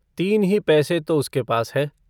तीन ही पैसे तो उसके पास हैं।